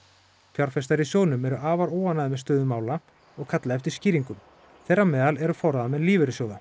fjárfestar í sjóðnum eru afar óánægðir með stöðu mála og kalla eftir skýringum þeirra á meðal eru forráðamenn lífeyrissjóða